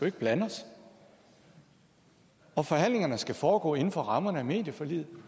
ikke blande os og forhandlingerne skal foregå inden for rammerne af medieforliget